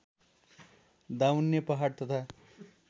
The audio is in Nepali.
दाउन्ने पहाड तथा